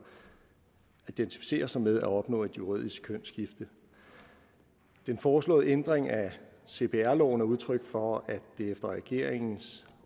og identificerer sig med at opnå et juridisk kønsskifte den foreslåede ændring af cpr loven er udtryk for at der efter regeringens